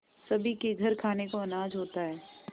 सभी के घर खाने को अनाज होता है